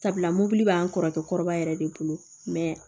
Sabula mobili b'an kɔrɔbaya yɛrɛ de bolo mɛ